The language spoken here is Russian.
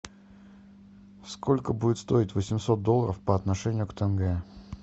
сколько будет стоить восемьсот долларов по отношению к тенге